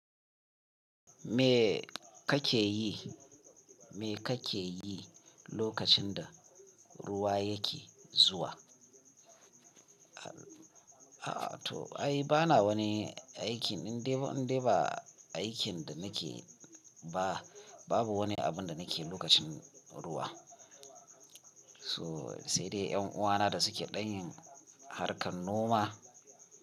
Me kake yi, me kake yi lokacin da ruwa yake zuwa? A'a to ai bana wani aikin in dai, in dai ba aikin da nake ba, babu wani abin da nake yi lokacin ruwa. So sai dai ƴan uwana da suke ɗan yin harkar noma.